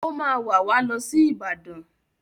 Ó máa wà wá lọ sí Ìbàdàn